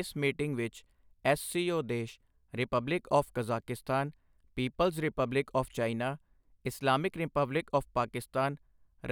ਇਸ ਮੀਟਿੰਗ ਵਿੱਚ ਐੱਸਸੀਓ ਦੇਸ਼, republic of Kazakhstan, people's republic of China, Islamic republic of Pakistan,